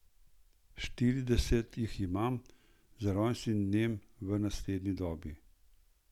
Štirideset jih imam, z rojstnim dnem v naslednji dobi.